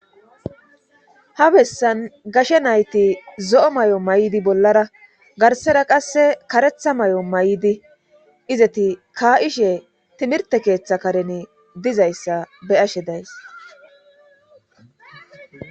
ha bessan gashe nayti zo'o may7'o may7'di bollara garsera qasse karetha may7o may7di izeti ka7ishe timirte keeththa kareni dizayssa be ashe days